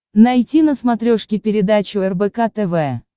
найти на смотрешке передачу рбк тв